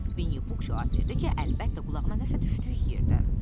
Vinnipux cavab verdi ki, əlbəttə qulağına nəsə düşdüyü yerdən.